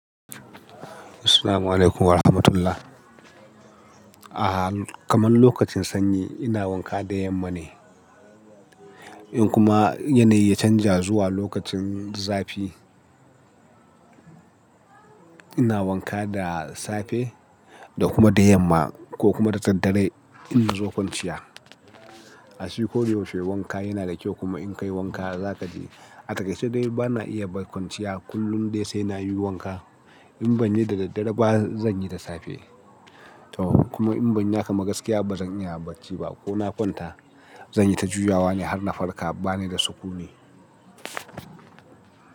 Assalamu alaikum wa rahmatullah. A'a, kaman lokacin sanyi ina wanka da yamma ne. In kuma yanayi ya canja zuwa lokacin zafi, ina wanka da safe da kuma da yamma ko kuma da daddare in na zo kwanciya. Shi ko yaushe wanka yana da kyau kuma in ka yi wanka za ka ji atake. Sai dai ba na iya kwanciya kullum dai sai na yi wanka. In ban yi da daddare ba, zan yi da safe. Toh kuma in ban yi hakan ba gaskiya ba zan iya bacci ba ko na kwanta. Zan yi ta juyawa ne har na farka. Bani da sukuni.